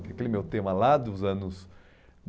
Aquele meu tema lá dos anos